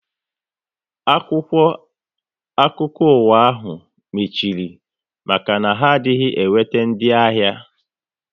Akwụkwọ akụkọ ụwa ahu mechiri maka na ha adịghị enweta ndị ahịa